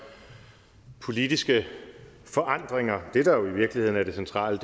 politiske forandringer det der jo i virkeligheden er det centrale